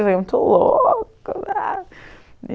Eu fiquei muito louca! (Êxtase)